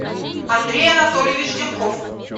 андрей анатольевич демков